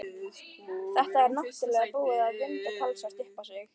Þetta er náttúrlega búið að vinda talsvert upp á sig.